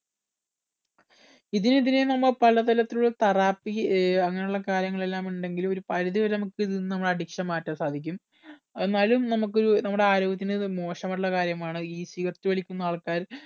ഇതിനെതിരെ നമ്മൾ പലതരത്തിലുള്ള therapy ഏർ അങ്ങനെ ഉള്ള കാര്യങ്ങൾ എല്ലാം ഉണ്ടെങ്കിലും ഒരു പരിധി വരെ നമുക്ക് ഇതിൽ നിന്നും addiction മാറ്റാൻ സാധിക്കും എന്നാലും നമുക്ക് ഒരു നമ്മുടെ ആരോഗ്യത്തിന് ഇത് മോശമായിട്ടുള്ള ഒരു കാര്യമാണ് ഈ cigarette വലിക്കുന്ന ആൾക്കാർ